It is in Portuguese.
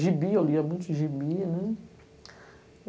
Gibi, eu lia muito Gibi, né?